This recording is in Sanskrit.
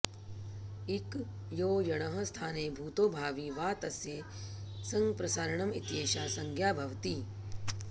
इक् यो यणः स्थाने भूतो भावी वा तस्य संप्रसारणम् इत्येषा संज्ञा भवति